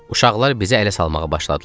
Uşaqlar bizə əl salmağa başladılar.